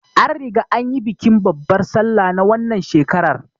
An riga an yi bikin babbar sallah na wannan shekarar